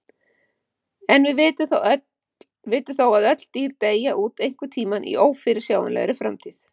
En við vitum þó að öll dýr deyja út einhvern tímann í ófyrirsjáanlegri framtíð.